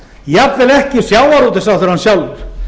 jafnvel ekki sjávarútvegsráðherrann sjálfur